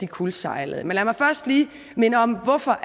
kuldsejlede men lad mig først lige minde om hvorfor